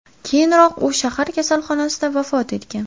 Keyinroq u shahar kasalxonasida vafot etgan.